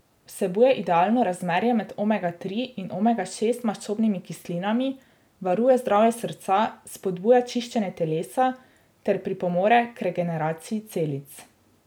Vsebuje idealno razmerje med omega tri in omega šest maščobnimi kislinami, varuje zdravje srca, spodbuja čiščenje telesa ter pripomore k regeneraciji celic.